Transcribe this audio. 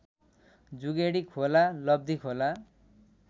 Jugedi Khola Labdhikhola